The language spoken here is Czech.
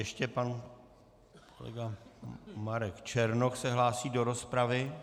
Ještě pan kolega Marek Černoch se hlásí do rozpravy.